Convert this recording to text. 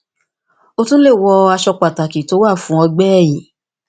o tun le wọ aṣọ pataki ti o wa fun ọgbẹ ẹhin